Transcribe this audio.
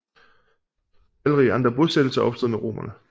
Talrige andre bosættelser opstod med romerne